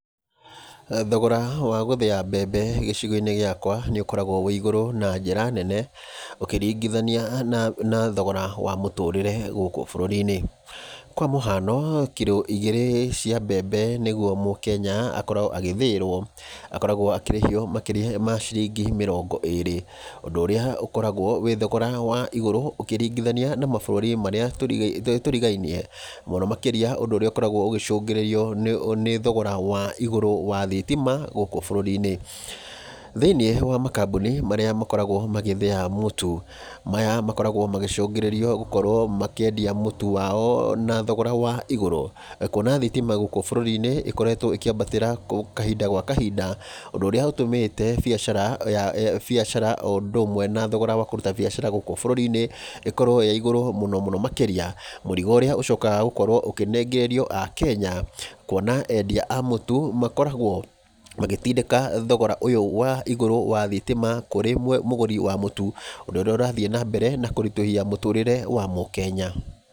Thogora wa gũthĩa mbembe gĩcigo-inĩ gĩakwa nĩ ũkoragwo wĩ igũrũ na njĩra nene ũkĩringithania na thogora wa mũtũrĩre gũkũ bũrũri-inĩ. Kwa mũhano, kiro ígĩrĩ cia mbembe nĩ guo mũkenya akoragwo agĩthĩĩrwo, akoragwo akĩrĩhio makĩria ma shiringi mĩrongo ĩrĩ, ũndũ ũrĩa ũkoragwo wĩ thogora wa igũrũ ũkĩringithania na mabũrũri marĩa turigainie, mũno makĩria ũndũ ũrĩa ũkoragwo ũgĩcũngĩrĩrio nĩ thogora wa igũrũ wa thitima gũkũ bũrũri-inĩ. Thĩiniĩ wa makambuni marĩa makoragwo magĩthĩa mũtu, maya makoragwo magĩcũngĩrĩrio gũkorwo makĩendia mũtu wao na thogora wa igũrũ, kuona thitima gukũ bũrũri-inĩ ĩkoretwo ĩkĩambatĩra kahinda gwa kahinda, ũndũ ũrĩa ũtũmĩte biashara o ũndũ ũmwe na thogora wa kũruta biashara gũkũ bũrũri-inĩ ĩkorwo ĩ igũrũ mũno makĩria. Mũrigo ũrĩa ũcokaga gũkorwo ũkĩnengererio akenya, kuona endia a mũtu, makoragwo magĩtindĩka thogora ũyũ wa igũrũ wa thitima kũrĩ mũgũri wa mũtu ũndũ ũrĩa ũrathiĩ na mbere na kũritũhia mũtũrĩre wa mũkenya.